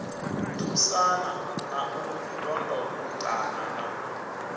thusana na u londotana na